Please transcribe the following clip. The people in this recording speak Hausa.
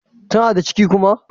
Tana da ciki kuma?